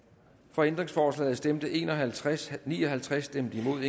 for ændringsforslaget stemte en og halvtreds ni og halvtreds stemte imod